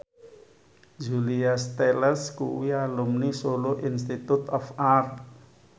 Julia Stiles kuwi alumni Solo Institute of Art